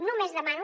només demano